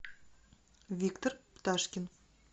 виктор пташкин